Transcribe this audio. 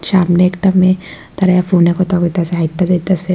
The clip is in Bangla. সামনে একটা মেয়ে দাঁড়ায়ে ফোনে কথা কইতাছে হাইট্যা যাইতাসে।